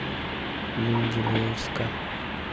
менделеевска